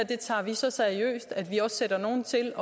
tager vi så seriøst at vi også sætter nogle til